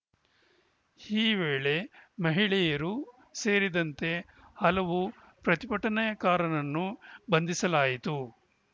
ಈ ವೇಳೆ ಮಹಿಳೆಯರು ಸೇರಿದಂತೆ ಹಲವು ಪ್ರತಿಭಟನೆಕಾರರನ್ನು ಬಂಧಿಸಲಾಯಿತು